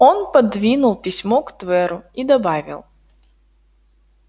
он пододвинул письмо к тверу и добавил